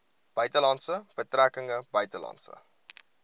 buitelandse betrekkinge buitelandse